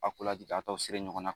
A ko ladi a tɔ siri ɲɔgɔn na